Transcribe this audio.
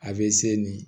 A bɛ se nin